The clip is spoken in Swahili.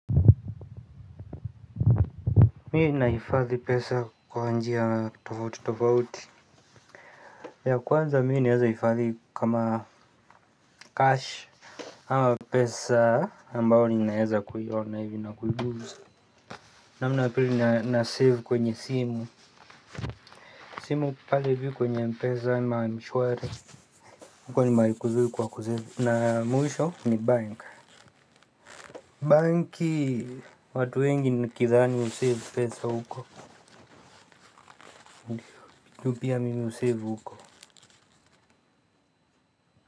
Mimi nahifadhi pesa kwa njia tofauti tofauti ya kwanza mimi naweza hifadhi kama cash. Ama pesa ambayo ninaweza kuiona hivi na kuigusa. Namna ya pili nasave kwenye simu. Simu pale hivi kwenye mpesa ama mshwari huko ni mahali kuzuri kwa kusave na mwisho ni bank. Banki watu wengi nikidhani husave pesa huko pia mimi husave huko.